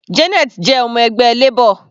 Janet jẹ ọmọ ẹgbẹ́ Labor.